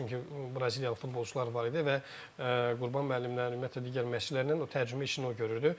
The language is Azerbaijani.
Çünki Braziliyalı futbolçular var idi və Qurban müəllimlə, ümumiyyətlə digər məşçilərlə o tərcümə işini o görürdü.